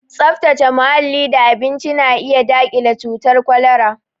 Tsaftace muhalli da abinci na iya daƙile cutar kwalara